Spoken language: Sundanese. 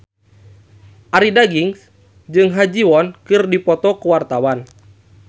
Arie Daginks jeung Ha Ji Won keur dipoto ku wartawan